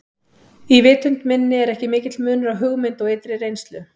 Í vitund minni er ekki mikill munur á hugmynd og ytri reynslu.